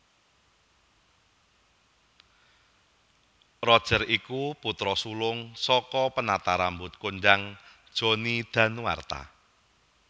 Roger iku putra sulung saka penata rambut kondhang Johnny Danuarta